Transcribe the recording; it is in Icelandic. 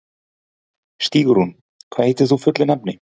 Stígrún, hvað heitir þú fullu nafni?